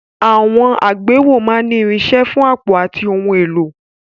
Àwọn àgbéwọ̀ máa ń ní àpò fún irinṣẹ́ àti ohun èlò.